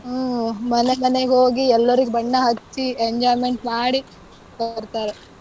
ಹ್ಮ್, ಮನೆ ಮನೆಗ್ ಹೋಗಿ ಎಲ್ಲರಿಗೂ ಬಣ್ಣ ಹಚ್ಚಿ enjoyment ಮಾಡಿ ಬರ್ತಾರೆ.